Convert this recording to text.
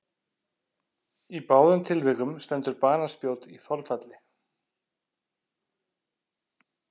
Í báðum tilvikum stendur banaspjót í þolfalli.